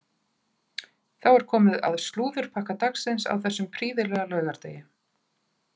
Þá er komið að slúðurpakka dagsins á þessum prýðilega laugardegi.